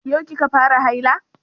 Yau ki ka fara haila?